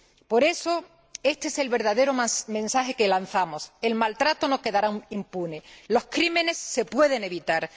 Por eso, este es el verdadero mensaje que lanzamos el maltrato no quedará impune, los crímenes se pueden evitar.